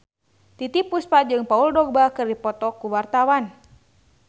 Titiek Puspa jeung Paul Dogba keur dipoto ku wartawan